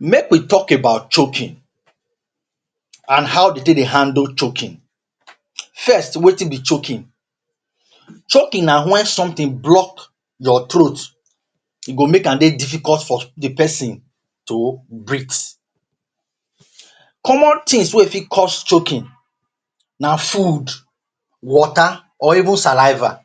Make we talk about choking and how dey take dey handle choking. First wetin be choking? Choking na when something block your throat or make am dey difficult for the pesin to breathe. Common things wey fit cause choking na food, water or even saliva.